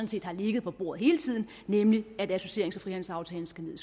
set har ligget på bordet hele tiden nemlig at associerings og frihandelsaftalen skal ned